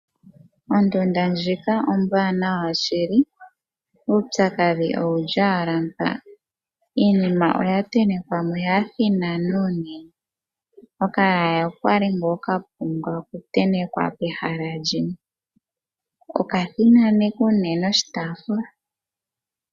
Ondunda ndjika ombwanawa shili, uupyakadhi owu li ala mpa, iinima oya tentekwamo ya thinana unene, okayaya okali kapumbwa oku tentekwa pehala limwe, oka thinaneka unene oshitaafula.